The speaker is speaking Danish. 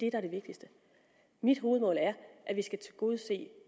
er det vigtigste mit hovedmål er at vi skal tilgodese